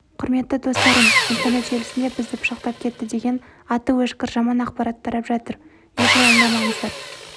құрметті достарым интернет желісінде бізді пышақтап кетті деген аты өшкір жаман ақпарат тарап жатыр еш алаңдамаңыздар